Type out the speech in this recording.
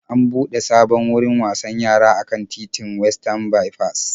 An buɗe sabon wurin wasan yara a kan titin Westan Baifas.